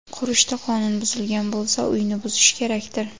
Qurishda qonun buzilgan bo‘lsa, uyni buzish kerakdir?